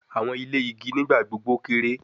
Awọn ile igi nigbagbogbo kere